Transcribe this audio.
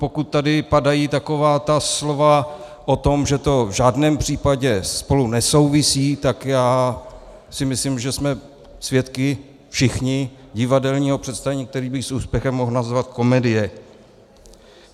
Pokud tady padají taková ta slova o tom, že to v žádném případě spolu nesouvisí, tak já si myslím, že jsme svědky všichni divadelního představení, které bych s úspěchem mohl nazvat komedie.